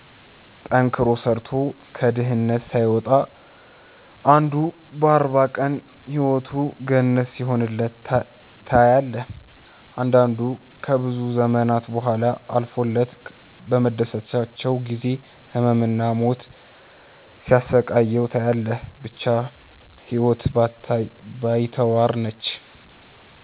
ጠንክሮ ሰርቶ ከድህነት ሳይወጣ አንዱ በ 40 ቀን ህይወቱ ገነት ሲሆንለት ታያለህ። አንዳንዱ ከብዙ ዘመናት ቡሃላ አልፎለት በመደሰቻው ጊዜ ህመም እና ሞት ሲያሰቃየው ታያለህ። ብቻ ህይወት ባይተዋር ነች።